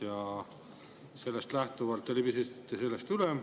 Ja sellest te libisesite üle.